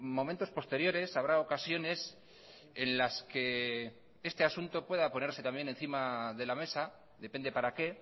momentos posteriores habrá ocasiones en las que este asunto pueda ponerse también encima de la mesa depende para qué